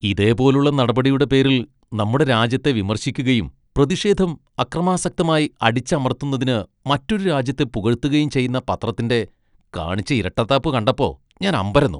ഇതേ പോലുള്ള നടപടിയുടെ പേരിൽ നമ്മുടെ രാജ്യത്തെ വിമർശിക്കുകയും പ്രതിഷേധം അക്രമാസക്തമായി അടിച്ചമർത്തുന്നതിന് മറ്റൊരു രാജ്യത്തെ പുകഴ്ത്തുകയും ചെയ്യുന്ന പത്രത്തിന്റെ കാണിച്ച ഇരട്ടത്താപ്പ് കണ്ടപ്പോ ഞാൻ അമ്പരന്നു .